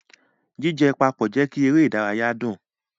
Jijẹ papọ jẹ kí eré ìdárayá dùn.